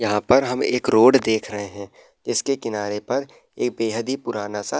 यहाँ पर हम एक रोड देख रहे है। इसके किनारे पर एक बेहद ही पुराना सा --